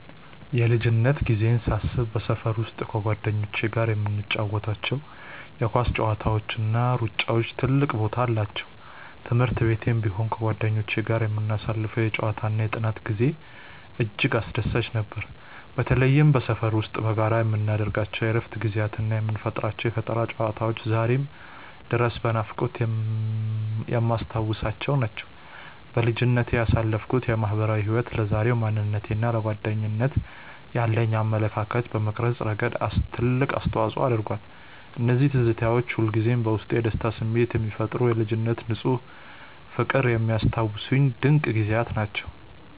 የልጅነት ጊዜዬን ሳስብ በሰፈር ውስጥ ከጓደኞቼ ጋር የምንጫወታቸው የኳስ ጨዋታዎችና ሩጫዎች ትልቅ ቦታ አላቸው። በትምህርት ቤትም ቢሆን ከጓደኞቼ ጋር የምናሳልፈው የጨዋታና የጥናት ጊዜ እጅግ አስደሳች ነበር። በተለይም በሰፈር ውስጥ በጋራ የምናደርጋቸው የእረፍት ጊዜያትና የምንፈጥራቸው የፈጠራ ጨዋታዎች ዛሬም ድረስ በናፍቆት የማስታውሳቸው ናቸው። በልጅነቴ ያሳለፍኩት ማህበራዊ ህይወት ለዛሬው ማንነቴና ለጓደኝነት ያለኝን አመለካከት በመቅረጽ ረገድ ትልቅ አስተዋጽኦ አድርጓል። እነዚያ ትዝታዎች ሁልጊዜም በውስጤ የደስታ ስሜት የሚፈጥሩና የልጅነት ንፁህ ፍቅርን የሚያስታውሱኝ ድንቅ ጊዜያት ናቸው።